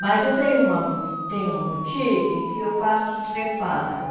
Mas eu tenho uma bou tenho uma boutique que eu faço os reparos.